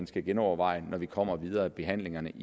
skal genoverveje når vi kommer videre i behandlingen